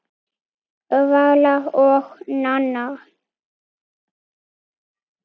Vala og Nanna.